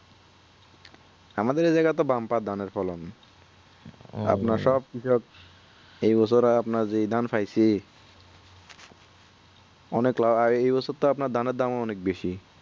আমাদের এই জায়গার bumper ধানের ফলন আপনার সব কিছুর এই বছর যা ধান পাইছি অনেক লাভ এই বছর তো আপনার ধান এর দাম ও অনেক বেশি